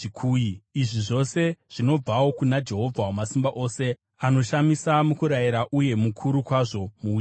Izvi zvose zvinobvawo kuna Jehovha Wamasimba Ose, anoshamisa mukurayira uye mukuru kwazvo muuchenjeri.